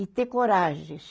E ter coragem.